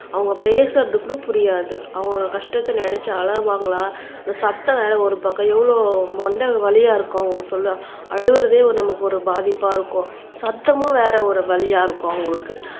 அவங்க பேசறது கூட புரியாது அவங்க கஷ்டத்தை நினைச்சு அழுவாங்களா அந்த சத்தம் வேற ஒரு பக்கம் எவ்வளவு மண்டை வலியா இருக்கும் அழுகிறதே நமக்கு ஒரு பாதிப்பா இருக்கும் சத்தமும் வேற ஒரு வலியா இருக்கும் அவங்களுக்கு